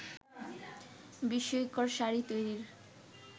বিস্ময়কর শাড়ি তৈরির